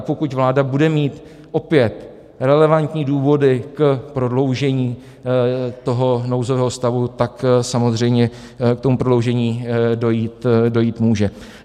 A pokud vláda bude mít opět relevantní důvody k prodloužení toho nouzového stavu, tak samozřejmě k tomu prodloužení dojít může.